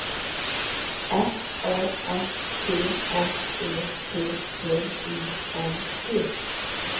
F A S T S E T T I N G